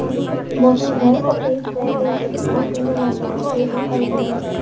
सामने कुछ बहोत सारे घर और पेड़ भी दिखाई दे रहे हैं जोकि बहोत सुंदर लग रहा है। पेड़ बहोत हरे भरे लग रहे हैं।